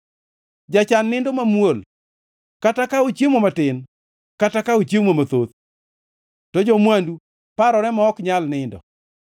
Jachan nindo mamuol, kata ka ochiemo matin kata ka ochiemo mathoth, to jo-mwandu parore ma ok nyal nindo.